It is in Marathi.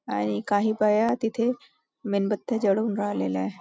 आणि काही बाया तिथे मेणबत्त्या जळवून राहिलेल्या आहे.